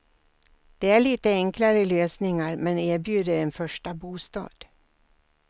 Det är lite enklare lösningar men erbjuder en första bostad.